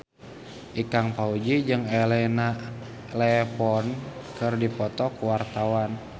Ikang Fawzi jeung Elena Levon keur dipoto ku wartawan